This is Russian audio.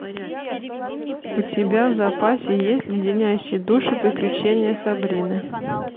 у тебя в запасе есть леденящие душу приключения сабрины